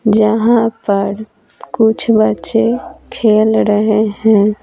जहां पर कुछ बच्चे खेल रहे हैं।